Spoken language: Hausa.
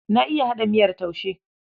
Na iya haɗa miyar taushe.